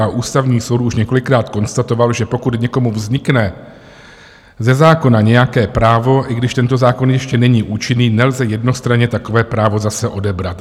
A Ústavní soud už několikrát konstatoval, že pokud někomu vznikne ze zákona nějaké právo, i když tento zákon ještě není účinný, nelze jednostranně takové právo zase odebrat.